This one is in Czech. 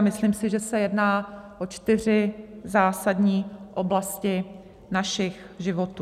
A myslím si, že se jedná o čtyři zásadní oblasti našich životů.